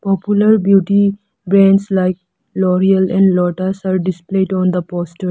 popular beauty brands like lo'real and lotus are displayed on the poster.